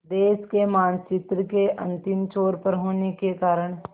देश के मानचित्र के अंतिम छोर पर होने के कारण